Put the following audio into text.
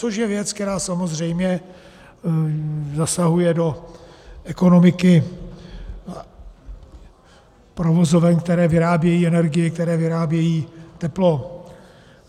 Což je věc, která samozřejmě zasahuje do ekonomiky provozoven, které vyrábějí energii, které vyrábějí teplo.